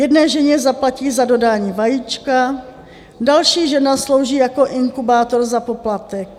Jedné ženě zaplatí za dodání vajíčka, další žena slouží jako inkubátor za poplatek.